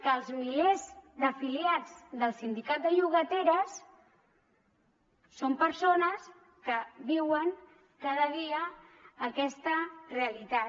que els milers d’afiliats del sindicat de llogateres són persones que viuen cada dia aquesta realitat